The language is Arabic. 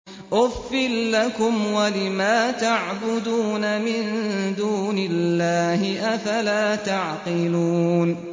أُفٍّ لَّكُمْ وَلِمَا تَعْبُدُونَ مِن دُونِ اللَّهِ ۖ أَفَلَا تَعْقِلُونَ